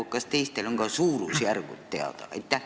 Kas ka teiste puhul on suurusjärgud teada?